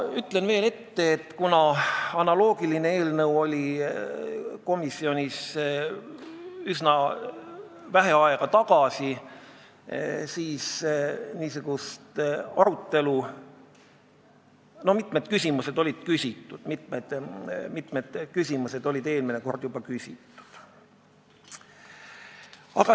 Ütlen veel ette, et üsna vähe aega tagasi oli komisjonis analoogiline eelnõu ja mitmed küsimused said juba eelmine kord küsitud.